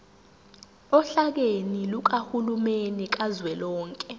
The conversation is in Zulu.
ohlakeni lukahulumeni kazwelonke